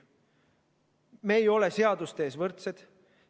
Me ei ole seaduste ees võrdsed.